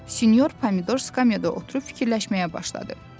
Sinyor Pomidor skameyada oturub fikirləşməyə başladı.